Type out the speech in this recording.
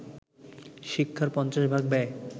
শিক্ষার পঞ্চাশ ভাগ ব্যয়